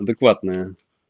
адекватная